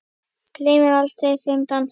Gleymi aldrei þeim dansi.